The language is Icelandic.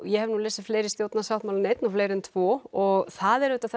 ég hef nú lesið fleiri stjórnarsáttmála en einn og fleiri en tvo og það er auðvitað